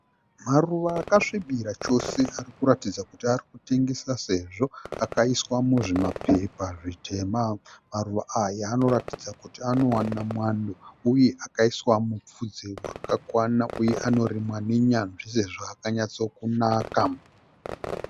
Maruva akasvibira chose arikuratidza kuti arikutengeswa, sezvo akaiswa muzvima pepa zvitema. Maruva aya anoratidza kuti anowana mwando uye akaiswa mupfudze wakakwana uye anorimwa ne nyanzvi sezvo akanatsa kunaka.